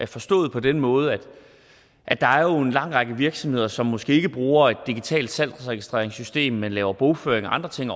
forstået på den måde at der jo er en lang række virksomheder som måske ikke bruger et digitalt salgsregistreringssystem men laver bogføring og andre ting